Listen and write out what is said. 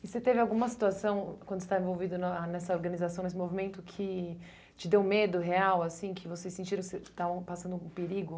E você teve alguma situação, quando você está envolvido na nessa organização, nesse movimento, que te deu medo real, assim, que vocês sentiram que estavam passando um perigo?